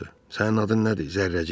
Sənin adın nədir, Zərrəcik?